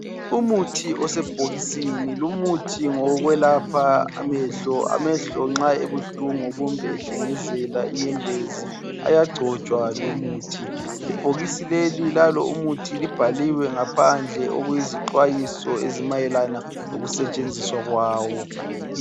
Umuthi osebhokisini lumuthi ngowokwelapha amehlo amehlo nxa ebuhlungu kumbe nxa ehlengezela inyembezi ayagcotshwa lumuthi ibhokisi leli Lalo umuthi libhaliwe ngaphandle okuyizixwayoso ezimayelana lokusetshenziswa kwawo.